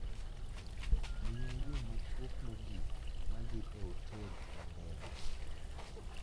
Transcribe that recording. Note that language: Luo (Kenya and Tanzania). miya yo machuok mogik ma dhi e otel ma ndege